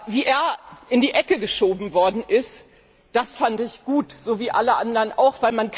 Wie er in die Ecke geschoben worden ist, das fand ich gut, so wie alle anderen auch.